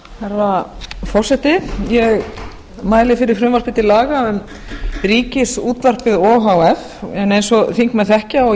herra forseti ég mæli fyrir frumvarpi til laga um ríkisútvarpið o h f en eins og þingmenn þekkja og